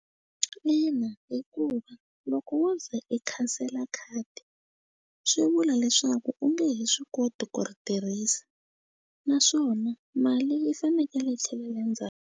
Ina hikuva loko wo ze i khansela khadi swi vula leswaku u nge he swi koti ku ri tirhisa naswona mali yi fanekele yi tlhelela .